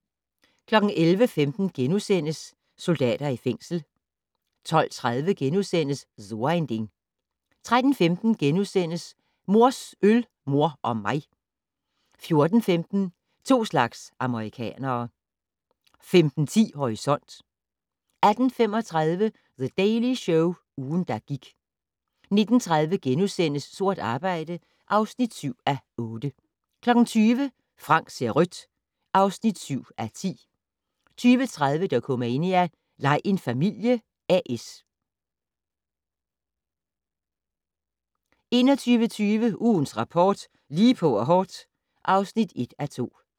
11:15: Soldater i fængsel * 12:30: So ein Ding * 13:15: Mors øl, mor og mig * 14:15: To slags amerikanere 15:10: Horisont 18:35: The Daily Show - ugen, der gik 19:30: Sort arbejde (7:8)* 20:00: Frank ser rødt (7:10) 20:30: Dokumania: Lej en familie A/S 21:20: Ugens Rapport: Lige på og hårdt (1:2)